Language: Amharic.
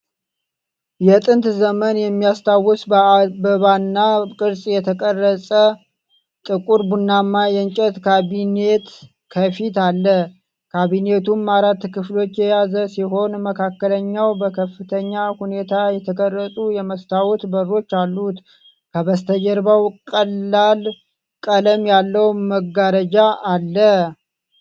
የጥንት ዘመን የሚያስታውስ በአበባና ቅርጽ የተቀረጸ ጥቁር ቡናማ የእንጨት ካቢኔት ከፊት አለ። ካቢኔቱ አራት ክፍሎችን የያዘ ሲሆን፣ መካከለኛው በከፍተኛ ሁኔታ የተቀረጹ የመስታወት በሮች አሉት። ከበስተጀርባ ቀላል ቀለም ያለው መጋረጃ አለ።